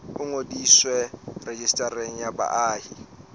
o ngodiswe rejistareng ya baahi